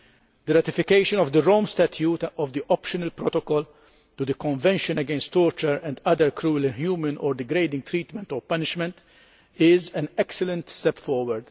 The ratification of the Rome Statute and of the Optional Protocol to the Convention against Torture and Other Cruel, Inhuman or Degrading Treatment or Punishment is an excellent step forward.